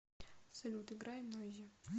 салют играй нойзи